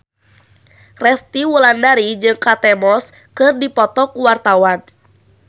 Resty Wulandari jeung Kate Moss keur dipoto ku wartawan